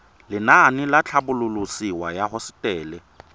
lenaane la tlhabololosewa ya hosetele